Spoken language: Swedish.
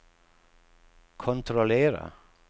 kontrollera